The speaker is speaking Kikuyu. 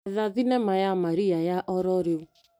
Etha thinema ya Marea ya ororĩu .